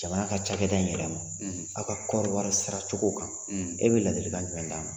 Jamana ka cakɛda in yɛrɛ ma aw ka kɔɔriwari saracogo kan e bɛ ladilikan jumɛn d'a ma